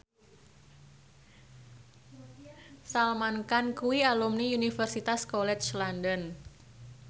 Salman Khan kuwi alumni Universitas College London